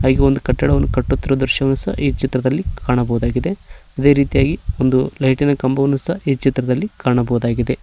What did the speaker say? ಹಾಗೆ ಒಂದು ಕಟ್ಟಡವನ್ನು ಕಟ್ಟಿರುವುದನ್ನು ದೃಶವು ಸಹ ಈ ಚಿತ್ರದಲ್ಲಿ ಕಾಣಬಹುದಾಗಿದೆ ಅದೆ ರೀತಿಯಾಗಿ ಒಂದು ಲೈಟಿನ ಕಂಬವನ್ನು ಸಹ ಈ ಚಿತ್ರದಲ್ಲಿ ಕಾಣಬಹುದಾಗಿದೆ.